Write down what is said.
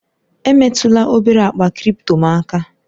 Emetụla obere akpa kripto m aka!